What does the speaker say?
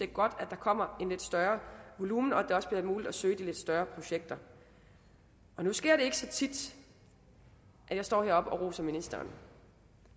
godt at der kommer en lidt større volumen og at det også bliver muligt at søge til de lidt større projekter og nu sker det ikke så tit at jeg står heroppe og roser ministeren